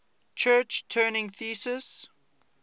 church turing thesis